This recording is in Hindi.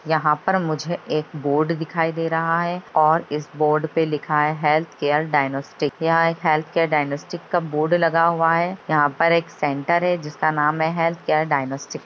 यहां पर मुझे एक बोर्ड दिखाई दे रहा है और इस बोर्ड पे लिखा है हेल्थ केयर डायगनोस्टिक यहां एक हेल्थ केयर डायगनोस्टिक का बोर्ड लगा हुआ है यहां पर एक सेंटर है जिसका नाम है हेल्थ केयर डायगनोस्टिक है।